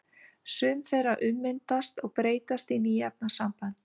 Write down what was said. Sum þeirra ummyndast og breytast í ný efnasambönd.